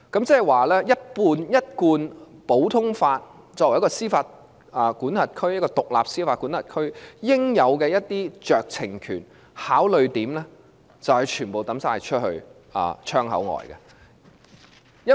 即是說，根據一貫普通法，香港作為獨立司法管轄區應有的酌情權和考慮點，便需全部丟棄。